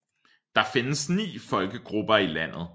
Der findes ni folkegrupper i landet